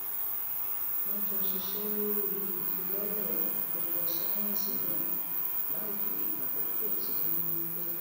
wón jọ ṣiṣé lórí ìfilọlẹ àpéjọ sáyẹǹsì náà láìfi àkókò tí wón ní pè